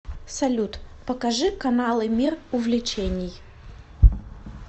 салют покажи каналы мир увлечений